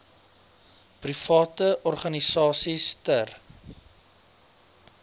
private organisasies ter